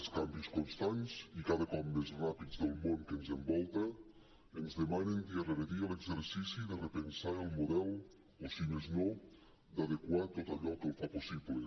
els canvis constants i cada cop més ràpids del món que ens envolta ens demanen dia rere dia l’exercici de repensar el model o si més no d’adequar tot allò que el fa possible